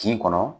Kin kɔnɔ